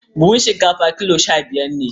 Buhun shinkafar kilo sha-biyar ne.